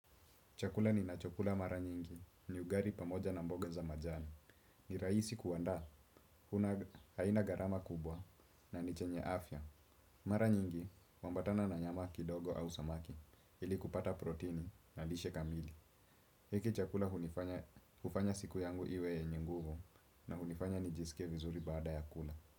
Chakula ninachokula mara nyingi ni ugali pamoja na mboga za majani. Ni rahisi kuandaa, haina gharama kubwa na ni chenye afya. Mara nyingi, huambatana na nyama kidogo au samaki ili kupata proteini na lishe kamili. Hiki chakula hufanya siku yangu iwe yenye nguvu na hunifanya nijisikie vizuri baada ya kula.